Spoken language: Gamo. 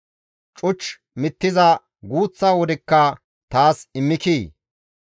Cuch mittiza guuththa wodekka taas immikii?